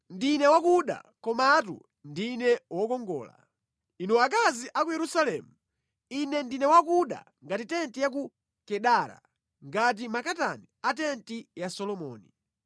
Ndine wakuda, komatu ndine wokongola, inu akazi a ku Yerusalemu, ine ndine wakuda ngati tenti ya ku Kedara, ngati makatani a tenti ya Solomoni.